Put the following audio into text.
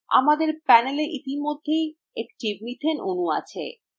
আমাদের panela ইতিমধ্যেই একটি methane অণু আছে